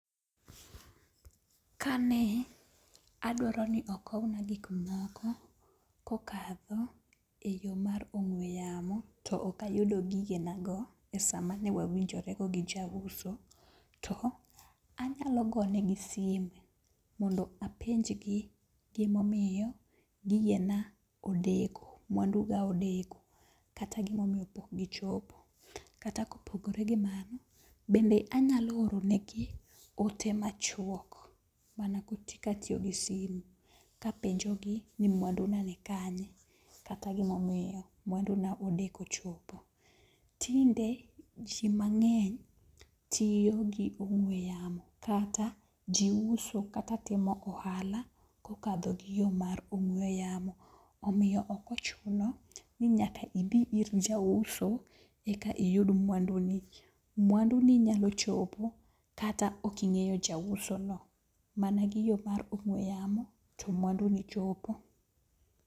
Kane adwaro ni okowna gik moko kokadho eyo mar ong'ue yamo, to ok ayudo gigenago e saa mane wawinjore go gi jauso, to anyalo gonegi simu mondo apenj gi gima omiyo gigena odeko mwanduga odeko. Kata gima omiyo pok gichopo. Kata kopogore gi mano, bende anyalo ooro negi oote machuok mana katiyo gi simu kapenjogi ni mwandu ga nikanye kata gima omiyo mwandu na odeko chopo. Tinde ji mang'eny tiyo gi ong'ue yamo kata ji uso kata timo hala kokadho gi yo mar ong'ue yamo. Omiyo ok ochuno ni nyaka idhi ir jauso eka iyud mwanduni. Mwandu ni inyalo chopo kata ok ing'eyo jausono, mana gi yoo ong'ue yamo to mwanduni chopo.